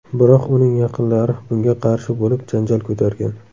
Biroq uning yaqinlari bunga qarshi bo‘lib, janjal ko‘targan.